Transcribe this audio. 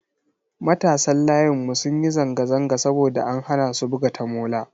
Matasan layinmu sun yi zanga-zanga saboda an hana su buga tamola.